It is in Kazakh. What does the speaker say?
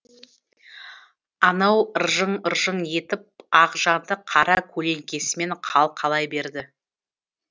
анау ыржың ыржың етіп ақжанды қара көлеңкесімен қалқалай берді